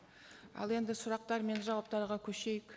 ал енді сұрақтар мен жауаптарға көшейік